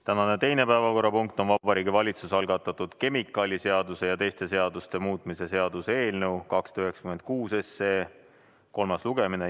Tänane teine päevakorrapunkt on Vabariigi Valitsuse algatatud kemikaaliseaduse ja teiste seaduste muutmise seaduse eelnõu 296 kolmas lugemine.